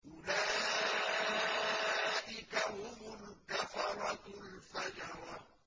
أُولَٰئِكَ هُمُ الْكَفَرَةُ الْفَجَرَةُ